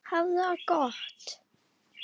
Hafðu það gott!